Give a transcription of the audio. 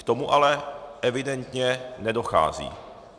K tomu ale evidentně nedochází.